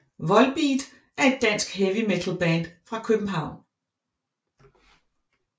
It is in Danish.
Volbeat er et dansk heavy metalband fra København